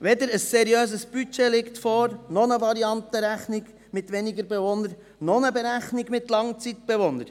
Weder liegt ein seriöses Budget vor noch eine Variantenrechnung mit weniger Bewohnern noch eine Berechnung mit Langzeitbewohnern.